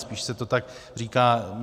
Spíš se to tak říká.